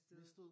Mistede